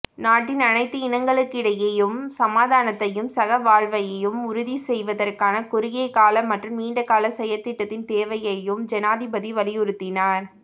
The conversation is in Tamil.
நாட்டின் அனைத்து இனங்களுக்கிடையேயும் சமாதானத்தையும் சகவாழ்வையும் உறுதி செய்வதற்கான குறுகிய கால மற்றும் நீண்டகால செயற்திட்டத்தின் தேவையையும் ஜனாதிபதி வலியுறுத்தினார்